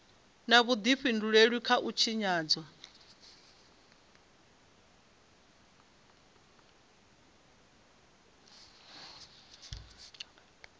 na vhudifhinduleli kha u tshinyadzwa